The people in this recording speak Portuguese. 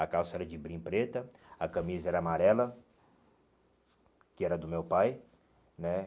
A calça era de brim preta, a camisa era amarela, que era do meu pai, né?